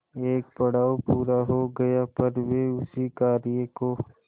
एक पड़ाव पूरा हो गया पर वे उस कार्य को